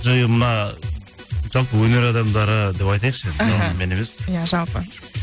мына жалпы өнер адамдары деп айтайықшы жалғыз мен емес иә жалпы